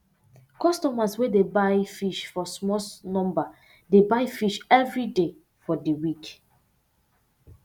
customers wey dey buy fish for small number dey buy fish evri day for di week